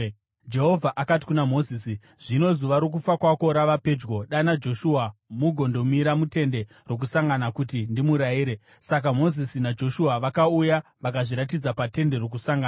Jehovha akati kuna Mozisi, “Zvino zuva rokufa kwako rava pedyo. Dana Joshua mugondomira muTende Rokusangana kuti ndimurayire.” Saka Mozisi naJoshua vakauya vakazviratidza paTende Rokusangana.